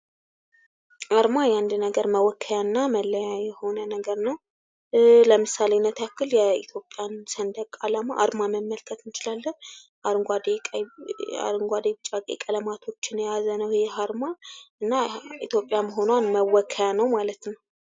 አርማ የአንድ ነገር መወከያና መለያ የሆነ ነገር ነው ለምሳሌነት ያክል የኢትዮጵያ ሰንደቅ ዓላማ አርማ መመልከት እንችላለን አረንጓዴ ቢጫ ቀይ ቀለማትን የያዘ ነው። ይህ አርማ ኢትዮጵያ መሆኗን መወከያ ነው።